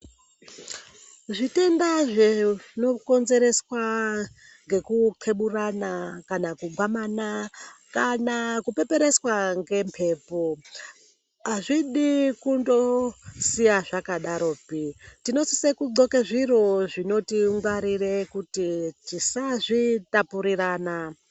Zvitenda zvinokonzereswa nekukeburana kana kugwamana kana kupepereswa ngemhepo. Hazvidi kundosiya zvakadaropi tinosise kundxoke zviro zvinotingwarire kuti tisazvitapurirana.